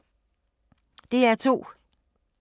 DR2